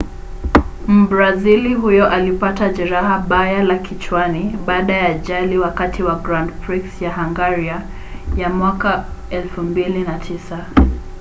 mbrazili huyo alipata jeraha baya la kichwani baada ya ajali wakati wa grand prix ya hungaria ya 2009